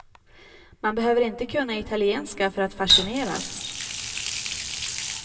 Man behöver inte kunna italienska för att fascineras.